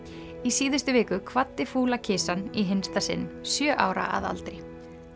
í síðustu viku kvaddi fúla kisan í hinsta sinn sjö ára að aldri